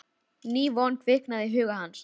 Ný von kviknaði í huga hans.